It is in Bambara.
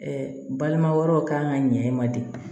balima wɛrɛw kan ka ɲɛ i ma de